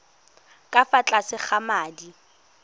ka fa tlase ga madi